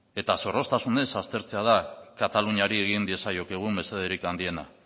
eta zorroztasunez aztertzea da kataluniari egin diezaiokegun mesederik handiena